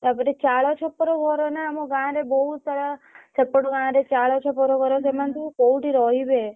ତା ପରେ ଚାଳ ଛପର ଘର ନା ଆମ ଗାଁରେ ବହୁତ ସାରା ସେପଟ ଗାଁରେ ଚାଳ ଛପର ଘର ସେମାନେ ସବୁ କୋଉଠି ରହିବେ?